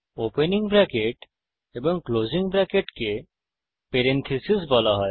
opening bracket এবং closing ব্রেকেটকে parenthesis বলা হয়